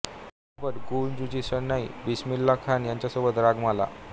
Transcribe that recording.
चित्रपट गूॅंज ऊठी शहनाई बिस्मिल्ला खान यांचेसोबत रागमाला